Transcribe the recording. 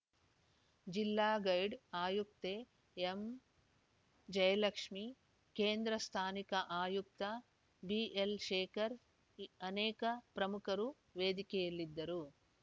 ಜಿಲ್ಲಾ ಗೈಡ್‌ ಆಯುಕ್ತೆ ಎಂಜಯಲಕ್ಷ್ಮೇ ಕೇಂದ್ರ ಸ್ಥಾನಿಕ ಆಯುಕ್ತ ಬಿಎಲ್‌ಶೇಖರ್‌ ಇ ಅನೇಕ ಪ್ರಮುಖರು ವೇದಿಕೆಯಲ್ಲಿದ್ದರು